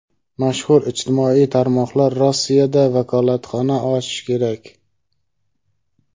Mashhur ijtimoiy tarmoqlar Rossiyada vakolatxona ochishi kerak.